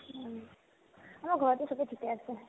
আমাৰ ঘৰতে চবে ঠিকে আছে